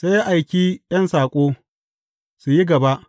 Sai ya aiki ’yan saƙo, su yi gaba.